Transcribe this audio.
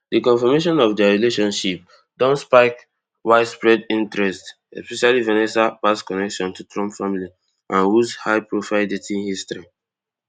di confirmation of dia relationship don spark widespread interest especially vanessa past connection to trump family and woods highprofile dating history